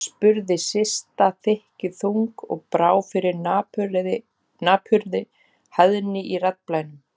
spurði Systa þykkjuþung og brá fyrir napurri hæðni í raddblænum.